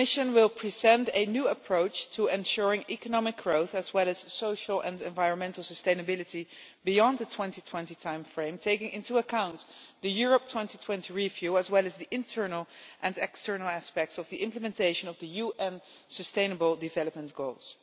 The Commission will present a new approach to ensuring economic growth as well as social and environmental sustainability beyond the 2020 timeframe, taking into account the Europe 2020 review as well as the internal and external aspects of the implementation of the UN sustainable development goals.